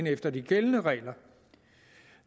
efter de gældende regler